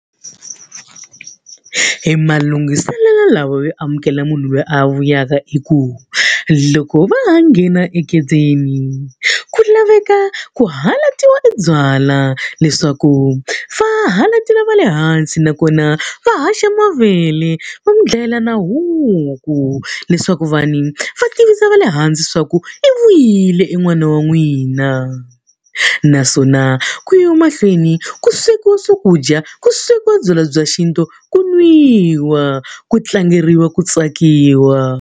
Emalunghiselelo lawa yo amukela munhu loyi a vuyaka i ku, loko va ha nghena egedeni ku laveka ku halatiwa ebyala leswaku va halatela va le hansi. Nakona va haxa mavele va n'wi dlayela na huku leswaku va ni va tivisa va le hansi leswaku i vuyile en'wana wa n'wina. Naswona ku yiwa mahlweni ku swekiwa swakudya, ku swekiwa byalwa bya xintu, ku nwiwa, ku tlangeriwa, ku tsakiwa.